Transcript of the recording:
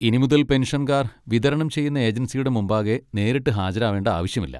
ഇനിമുതൽ പെൻഷൻകാർ വിതരണം ചെയ്യുന്ന ഏജൻസിയുടെ മുമ്പാകെ നേരിട്ട് ഹാജരാവേണ്ട ആവശ്യമില്ല.